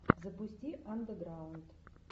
запусти андеграунд